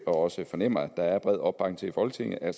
også fornemmer der er bred opbakning til i folketinget at